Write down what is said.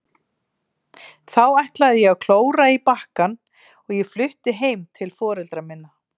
Þó ætlaði ég að klóra í bakkann og ég flutti heim til foreldra minna.